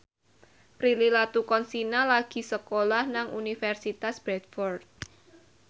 Prilly Latuconsina lagi sekolah nang Universitas Bradford